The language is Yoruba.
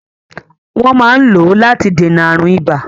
Wọ́n máa ń lò ó láti dènà àrùn ibà.